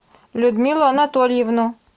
людмилу анатольевну